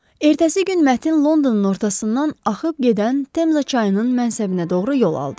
Ertəsi gün mətn Londonun ortasından axıb gedən Temza çayının mənsəbinə doğru yol aldı.